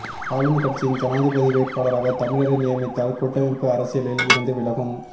ஆளும் கட்சியின் ஜனாதிபதி வேட்பாளராக தமிழரை நியமித்தால் கூட்டமைப்பு அரசியலில் இருந்து விலகும்